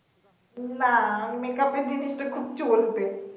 উম না make up এর জিনিস টা খুব চলবে